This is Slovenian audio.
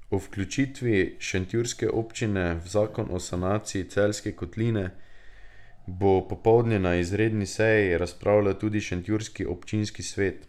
O vključitvi šentjurske občine v zakon o sanaciji Celjske kotline bo popoldne na izredni seji razpravljal tudi šentjurski občinski svet.